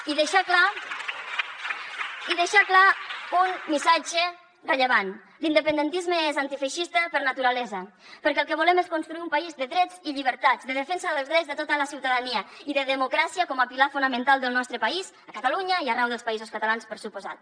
i deixar clar un missatge rellevant l’independentisme és antifeixista per naturalesa perquè el que volem és construir un país de drets i llibertats de defensa dels drets de tota la ciutadania i de democràcia com a pilar fonamental del nostre país a catalunya i arreu dels països catalans per descomptat